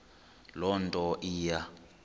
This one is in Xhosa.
loo nto iya